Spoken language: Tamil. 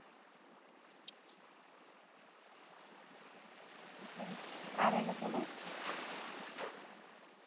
அப்புறம் வேற எங்க போணும்